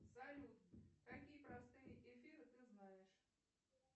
салют какие простые эфиры ты знаешь